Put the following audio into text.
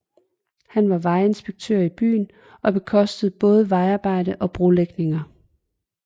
Han var vejinspektør i byen og bekostede både vejarbejder og brolægningninger